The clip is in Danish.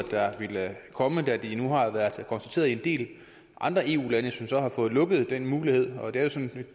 vil komme da det nu har været konstateret i en del andre eu lande som så har fået lukket den mulighed og det er jo